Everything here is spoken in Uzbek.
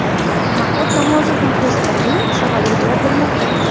Mahmud Nomozov muxlislarining savoliga javob bermoqda.